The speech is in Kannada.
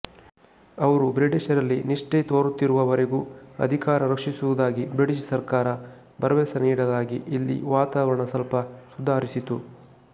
ಅವರು ಬ್ರಿಟಿಷರಲ್ಲಿ ನಿಷ್ಠೆ ತೋರುತ್ತಿರುವ ವರೆಗೂ ಅಧಿಕಾರ ರಕ್ಷಿಸುವುದಾಗಿ ಬ್ರಿಟಿಷ್ ಸರ್ಕಾರ ಭರವಸೆ ನೀಡಲಾಗಿ ಇಲ್ಲಿ ವಾತಾವರಣ ಸ್ವಲ್ಪ ಸುಧಾರಿಸಿತು